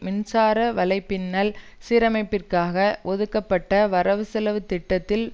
மின்சார வலை பின்னல் சீரமைப்பிற்காக ஒதுக்கப்பட்ட வரவு செலவு திட்டத்தில்